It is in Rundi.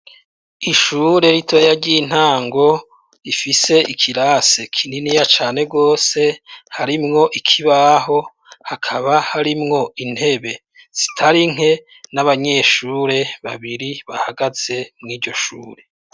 Ishure ritoya ry'intango ifise ikirase kininiya cane gose, harimwo ikibaho hakaba harimwo intebe zitari nke n'abanyeshure babiri bahagaze mw'iryo shure.